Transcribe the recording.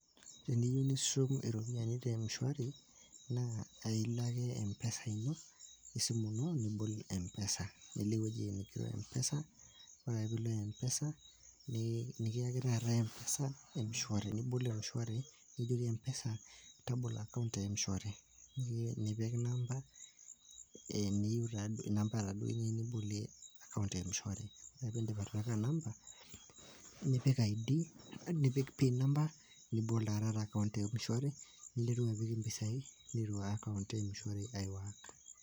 Teniyieu nishum iropiyani te emshwari naa ailoake empesa ino, esimu nibol empesa nilo ewueji neigero empesa kore ake pilo empesa nii nikiaki taata empesa mshwari nibol emshwari nijoki empesa tabolo akaunt e emshwari, nipik namba eniyieu taduo, namba taduo niyu taata nibolie akaunt eemshwari. Ore piindip atipika namba nipik id nipik pin namba nibol taa taata akaunt te emshwari ninteru apik impisai niruaya akaunt emshwari neiteru aiwak.